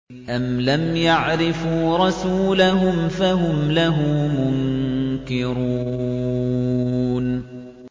أَمْ لَمْ يَعْرِفُوا رَسُولَهُمْ فَهُمْ لَهُ مُنكِرُونَ